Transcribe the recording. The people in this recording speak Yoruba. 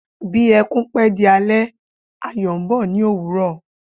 Bí ẹkún bá pé di alẹ́, ayọ̀ ń bọ̀ ní ÒWÚRỌ̀.